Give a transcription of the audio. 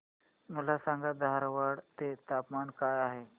मला सांगा धारवाड चे तापमान काय आहे